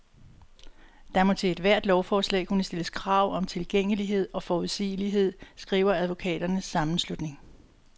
Der må til ethvert lovforslag kunne stilles krav om tilgængelighed og forudsigelighed, skriver advokaternes sammenslutning.